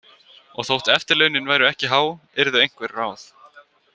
Og þótt eftirlaunin væru ekki há yrðu einhver ráð.